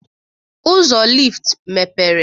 Ụzọ lift mepere.